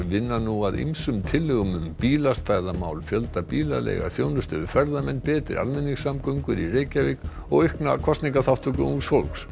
vinna nú að ýmsum tillögum um bílastæðamál fjölda bílaleigubíla þjónustu við ferðamenn betri almenningssamgöngur í Reykjavík og aukna kosningaþátttöku ungs fólks